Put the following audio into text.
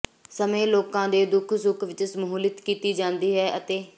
ਸਮੇਂ ਲੋਕਾਂ ਦੇ ਦੁੱਖ ਸੁੱਖ ਵਿਚ ਸਮੂਹਲਿਤ ਕੀਤੀ ਜਾਂਦੀ ਹੈ ਅਤੇ